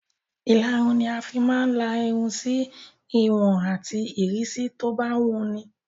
Ìlarun ni a fi máa ń la irun sí ìwọ̀n àti ìrísí tó bá wun ni.